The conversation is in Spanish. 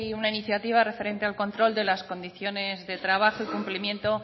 una iniciativa referente al control de las condiciones de trabajo y cumplimiento